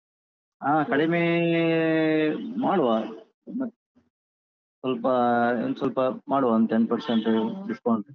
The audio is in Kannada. ಹಾ ಕಡಿಮೆ ಮಾಡುವ ಸ್ವಲ್ಪ ಒಂದ್ ಸ್ವಲ್ಪ ಮಾಡುವ ಒಂದ್ ten percent discount.